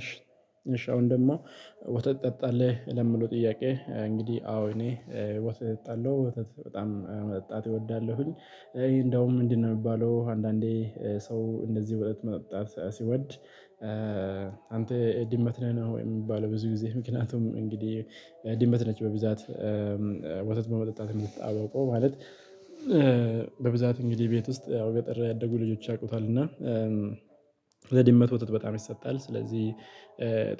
እሺ እሺ አሁን ደግሞ ወተት ትጠጣለህ ለሚለው ጥያቄ እንግዲህ አዎ እኔ ወተት እጠጣለው ወተት በጣም መጠጣት እወዳለሁኝ። እንደውም ምንድነው የሚባለው አንዳንዴ። ሰው እንደዚህ ወተት መጠጣት ሲወድ። አንተ ድመት ነህ ነው የሚባለው ብዙ ጊዜ ምክንያቱም እንግዲህ ድመት ነች በብዛት ወተት በመጠጣት የምትታወቀው ማለት። በብዛት እንግዲህ ቤት ውስጥ ያው ገጠር ያደጉ ልጆች ያውቁታል። እና ለድመት ወተት በጣም ይሰጣል። ስለዚህ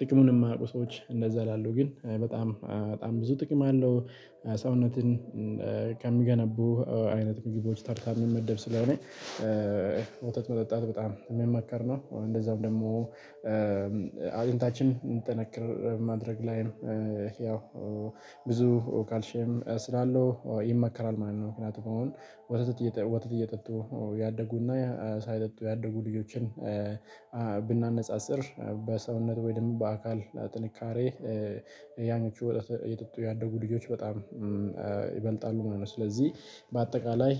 ጥቅሙን የማያውቁ ሰዎች እንደዛ ይላሉ። ግን በጣም በጣም ብዙ ጥቅም አለው። ሰውነትን ከሚገነቡ አይነት ምግቦች ተርታ የሚመደብ ስለሆነ ወተት መጠጣት በጣም የሚመከር ነው። እንደዛው ደግሞ አጥንታችን እንዲጠነክር ማድረግ ላይም ያው ብዙ ካልሽየም ስላለው ይመከራል ማለት ነው። ምክንያቱም አሁን ወተት ወተት እየጠጡ ያደጉና ሳይጠጡ ያደጉ ልጆችን። ብናነጻጽር በሰውነት ወይም በአካል ጥንካሬ ያኖቹ ወተት እየጠጡ ያደጉ ልጆች በጣም ይበልጣሉ ማለት ነው። ስለዚህ በአጠቃላይ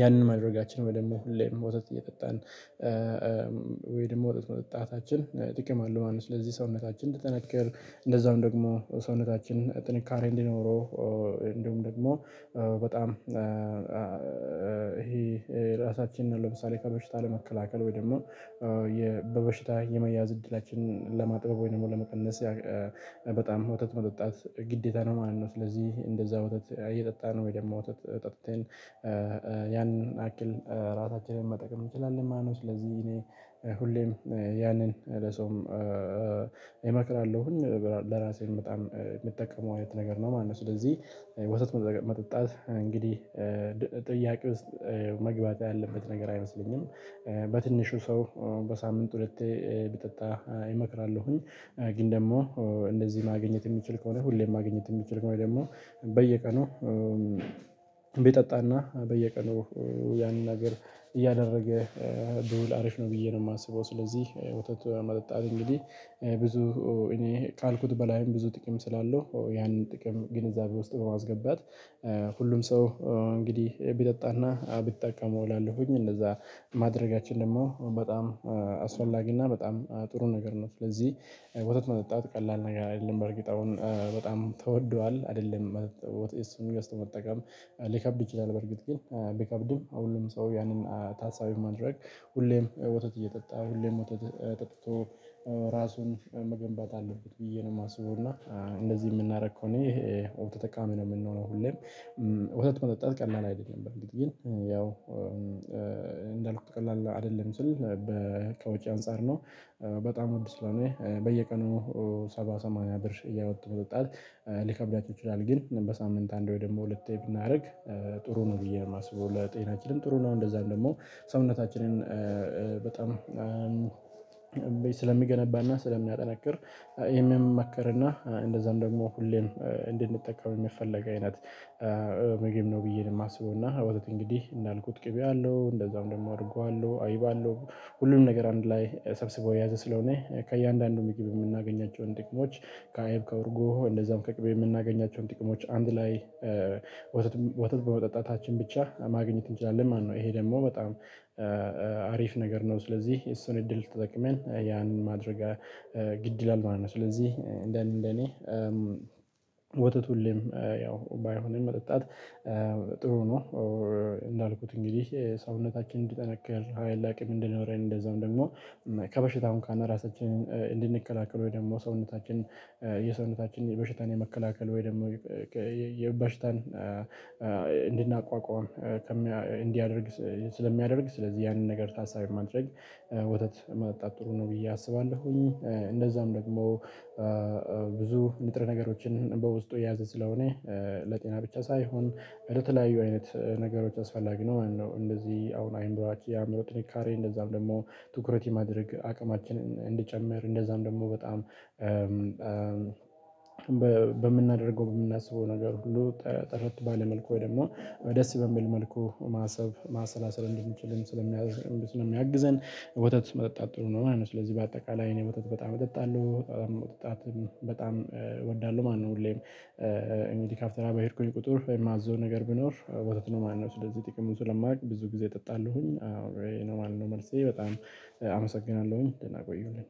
ያንን ማድረጋችን ወይ ደሞ ሁሌም ወተት እየጠጣን ወይ ደግሞ ወተት መጠጣታችን ጥቅም አለው ማለት ነው። ስለዚህ ሰውነታችን እንዲጠነክር እንደዛውም ደግሞ ሰውነታችን ጥንካሬ እንዲኖረው። እንዲሁም ደግሞ በጣም ራሳችንን ለምሳሌ ከበሽታ ለመከላከል ወይ ደግሞ በበሽታ የመያዝ እድላችንን ለማጥበብ ወይ ደግሞ ለመቀነስ በጣም ወተት መጠጣት ግዴታ ነው ማለት ነው። ስለዚህ እንደዛ ወተት እየጠጣን ወይ ደግሞ ወተት ጠጥተን ያን ያክል ራሳችንን መጥቀም አንችላለን ማለት ነው። ስለዚህ እኔ ሁሌም ያንን ለሰውም እመክራለሁኝ ለራሴም በጣም የምጠቀመው አይነት ነገር ነው ማለት ነው። ስለዚህ ወተት መጠጣት እንግዲህ ጥያቄ ውስጥ መግባት ያለበት ነገር አይመስለኝም። በትንሹ ሰው በሳምንት ሁለቴ ቢጠጣ እመክራለሁኝ። ግን ደግሞ እንደዚህ ማግኘት የሚችል ከሆነ ሁሌም ማግኘት የሚችል ከሆነ ደግሞ በየቀኑ ቢጠጣና በየቀኑ ያንን ነገር እያደረገ ብዙ አሪፍ ነው። ብዬ ነው የማስበው። ስለዚህ ወተት መጠጣት እንግዲህ ብዙ እኔ ካልኩት በላይም ብዙ ጥቅም ስላለው ያንን ጥቅም ግንዛቤ ውስጥ በማስገባት ሁሉም ሰው እንግዲህ ቢጠጣና ቢጠቀመው እላለሁኝ። እንደዛ ማድረጋችን ደግሞ በጣም አስፈላጊና በጣም ጥሩ ነገር ነው። ስለዚህ ወተት መጠጣት ቀላል ነገር አይደለም በእርግጥ አሁን በጣም ተወዷል አይደለም እሱን ገዝቶ መጠቀም ሊከብድ ይችላል። በርግጥ ግን ቢከብድም ሁሉም ሰው ያንን ታሳቢ በማድረግ ሁሌም ወተት እየጠጣ ሁሌም ወተት ጠጥቶ ራሱን መገንባት አለበት ብዬ ነው የማስበው። እና እንደዚህ የምናደርግ ከሆነ ይሄ ወተጥ ተጠቃሚ ነው የምንሆነው። ሁሌም ወተት መጠጣት ቀላል አይደለም። በርግጥ ግን ያው እንዳልኩት ቀላል አይደለም ስል በ ከወጭ አንፃር ነው በጣም ውድ ስለሆነ በየቀኑ ሰባ ሰማንያ ብር እያወጡ መጠጣት ሊከብዳችሁ ይችላል። ግን በሳምንት አንድ ወይ ደግሞ ሁለቴ ብናደርግ ጥሩ ነው ብዬ ነው የማስበው። ለጤናችንም ጥሩ ነው። እንደዛም ደግሞ ሰውነታችንን በጣም ስለሚገነባና ስለሚያጠነክር የሚመከርና እንደዛም ደግሞ ሁሌም እንድንጠቀም የሚፈለግ አይነት ምግብ ነው። ብዬ ነው የማስበው። እና ወተት እንግዲህ እንዳልኩት ቅቤ አለው እንደዛውም ደግሞ እርጎ አለው አይብ አለው ሁሉንም ነገር አንድ ላይ ሰብስቦ የያዘ ስለሆነ ከእያንዳንዱ ምግብ የምናገኛቸውን ጥቅሞች ከአይብ ከእርጎ እንደዛም ከቅቤ የምናገኛቸውን ጥቅሞች አንድ ላይ ወተት ወተት በመጠጣታችን ብቻ ማግኘት እንችላለን ማለት ነው። ይሄ ደግሞ በጣም አሪፍ ነገር ነው። ስለዚህ የሱን እድል ተጠቅመን ያንን ማድረግ ግድ ይላል ማለት ነው። ስለዚህ እንደ እኔ እንደ እኔ ወተት ሁሌም ያው ባይሆንም መጠጣት ጥሩ ነው። እንዳልኩት እንግዲህ ሰውነታችን እንዲጠነከር ሀይል አቅም እንዲኖረን እንደዛውም ደግሞ ከበሽታውም ካን ራሳችንን እንድንከላከል ወይ ደግሞ ሰውነታችን የሰውነታችን የበሽታን የመከላከል ወይ ደግሞ የ በሽታን እንድንቋቋም እንዲያደርግ ስለሚያደርግ ስለዚህ ያንን ነገር ታሳቢ ማድረግ ወተት መጠጣት ጥሩ ነው ብዬ አስባለሁኝ። እንደዛም ደግሞ ብዙ ንጥረ ነገሮችን በውስጡ የያዘ ስለሆነ ለጤና ብቻ ሳይሆን እንደተለያዩ አይነት ነገሮች አስፈላጊ ነው። እንደዚህ አሁን አይምሯችን የአእምሮ ጥንካሬ እንደዛም ደግሞ ትኩረት የማድረግ አቅማችንን እንዲጨምር እንደዛም ደግሞ በጣም በምናደርገው በምናስበው ነገር ሁሉ ጥርት ባለ መልኩ ወይ ደግሞ ደስ በሚል መልኩ ማሰብ ማሰላሰል እንድንችል ስለሚያግዝ ስለሚያግዘን። ወተት መጠጣት ጥሩ ነው ማለት ነው። ስለዚህ በአጠቃላይ እኔ ወተት በጣም እጠጣለሁ መጠጣትም በጣም እወዳለሁ ማለት ነው። ሁሌም እንዲህ ካፍቴርያ በሄድኩኝ ቁጥር የማዘው ነገር ቢኖር ወተት ነው ማለት ነው። ስለዚህ ጥቅሙን ስለማውቅ ብዙ ጊዜ እጠጣለሁኝ አዎ ይሄ ነው ማለት ነው። መልሴ በጣም አመሰግናለሁኝ። ደህና ቆዩልኝ